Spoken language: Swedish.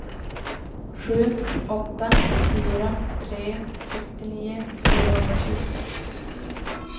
sju åtta fyra tre sextionio fyrahundratjugosex